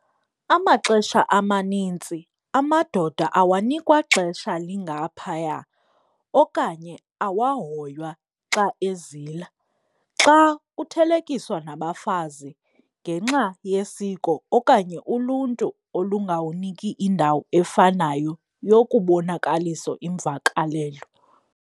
Amaxesha amanintsi amadoda awanikwa xesha lingaphaya okanye awahoywa xa ezila, xa kuthelekiswa nabafazi ngenxa yesiko okanye uluntu olungawuniki indawo efanayo yokubonakaliso imvakalelo.